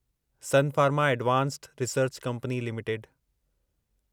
sun Pharma Advanced Research Company limited